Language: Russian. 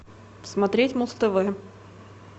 смотреть муз тв